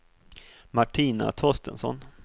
Martina Torstensson